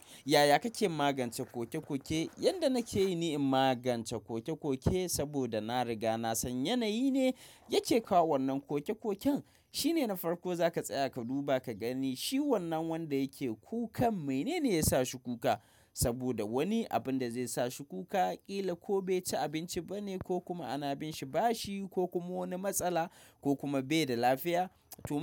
Yaya kake magance kokekoke? Yanda nake yi ni in magance kokekoke saboda na riga na san yanayi ne yake kawo wannan kokekoken. Shine na farko za ka tsaya ka duba ka gani shi wannan wanda yake kuka, menene ya sa shi kuka. Saboda wani abun da zai sa shi kuka, ƙila ko bai ci abinci bane ko kuma ana binshi bashi ko kuma wani matsala ko kuma bai da lafiya.